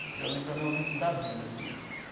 Aquilo ali para mim é um livro da vida, assim.